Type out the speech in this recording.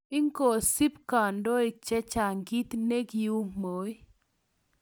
ingosub kandoik chechang kiit nekiuu Moi